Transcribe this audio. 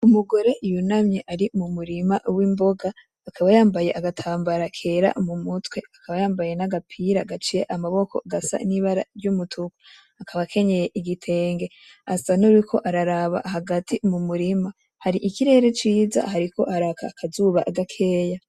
Umugore yunamye ari mu murima wimboga akaba yambaye agatambara kera mu mutwe akaba yambaye nagapira gaciye amaboko gasa nibara ryumutuku akaba akenyeye igitenge, asa nkuwuriko araraba hagati mumurima hari ikirere kiza hariko haraka akazuba gakeya.